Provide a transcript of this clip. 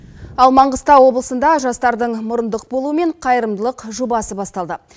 ал маңғыстау облысында жастардың мұрындық болуымен қайырымдылық жобасы басталды